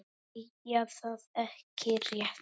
Segja það ekki rétt.